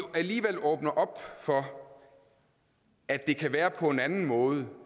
alligevel åbner op for at det kan være på en anden måde